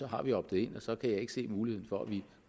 har vi optet in og så kan jeg ikke se muligheden for at vi